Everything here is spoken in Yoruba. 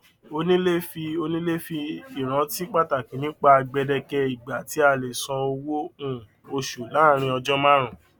onílé fi onílé fi ìrántí pataki nipa gbedeke ìgbà tí a lè san owó um oṣù laarin ọjọ marun